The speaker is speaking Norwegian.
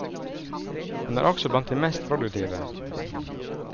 Han er også blant de mest produktive.